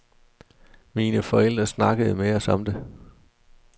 Mine forældre snakkede med os om det.